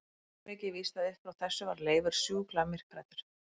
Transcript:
Svo mikið er víst að upp frá þessu varð Leifur sjúklega myrkhræddur.